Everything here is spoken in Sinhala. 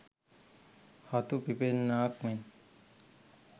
හතු පිපෙන්නාක් මෙන්